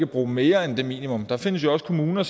bruge mere end det minimum der findes jo også kommuner